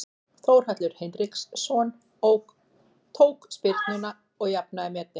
Þórhallur Hinriksson tók spyrnuna og jafnaði metin.